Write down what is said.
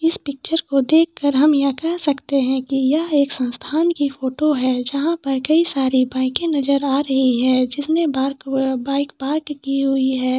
इस पिक्चर को देककर हम ये कह सकते है की यह एक संस्थान की फोटो है जहा पर कई सारी बाइक नज़र आ रही है जिसमे पार्क आ बाइक पार्क की हुई हैं।